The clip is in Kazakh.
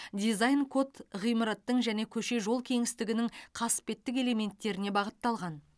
дизайн код ғимараттың және көше жол кеңістігінің қасбеттік элементтеріне бағытталған